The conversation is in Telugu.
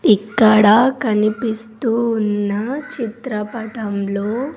ఇక్కడ కనిపిస్తూ ఉన్న చిత్రపటంలో.